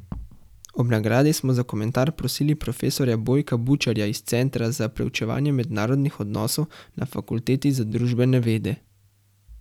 Ob nagradi smo za komentar prosili profesorja Bojka Bučarja iz Centra za preučevanje mednarodnih odnosov na Fakulteti za družbene vede.